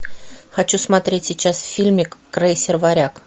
хочу смотреть сейчас фильмик крейсер варяг